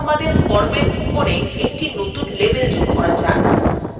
এখন আমাদের formএর উপরে একটি নতুন label যোগ করা যাক